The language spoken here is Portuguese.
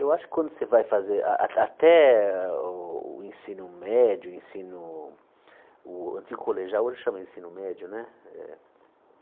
Eu acho que quando você vai fazer ah ah até o o ensino médio, ensino o antigo colegial, hoje chama de ensino médio, né? Eh eh